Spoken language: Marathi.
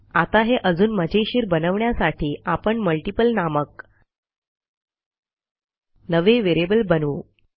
आता हे अजून मजेशीर बनवण्यासाठी आपण मल्टीपल नामक नवे व्हेरिएबल बनवू